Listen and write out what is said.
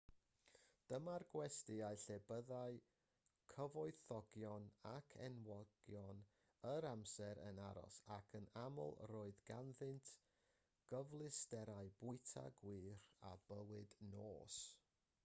dyma'r gwestyau lle byddai cyfoethogion ac enwogion yr amser yn aros ac yn aml roedd ganddynt gyfleusterau bwyta gwych a bywyd nos